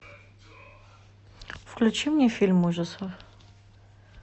включи мне фильм ужасов